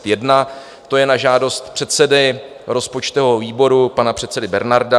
To je na žádost předsedy rozpočtového výboru, pana předsedy Bernarda.